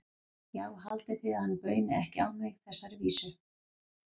Já, haldið þið að hann bauni ekki á mig þessari vísu?